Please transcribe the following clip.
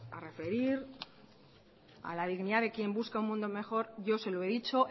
a referir a la dignidad de quien busca un mundo mejor yo se lo he dicho